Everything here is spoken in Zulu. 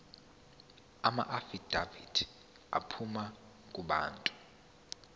amaafidavithi aphuma kubantu